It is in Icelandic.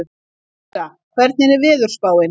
Yrsa, hvernig er veðurspáin?